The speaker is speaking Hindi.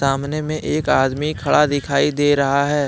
सामने में एक आदमी खड़ा दिखाई दे रहा है।